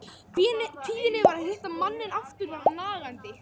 Kvíðinn yfir því að hitta manninn aftur var nagandi.